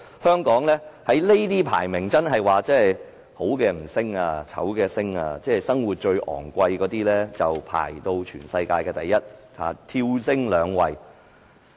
香港的排名真是"好的不升，醜的升"，生活成本排名世界第一，跳升兩位。